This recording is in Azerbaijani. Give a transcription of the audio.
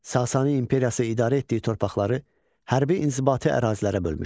Sasani imperiyası idarə etdiyi torpaqları hərbi inzibati ərazilərə bölmüşdü.